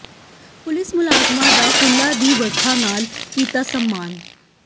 police ਮੁਲਾਜ਼ਮਾਂ ਦਾ ਫੁੱਲਾਂ ਦੀ ਵਰਖਾ ਨਾਲ ਕੀਤਾ ਸਨਮਾਨ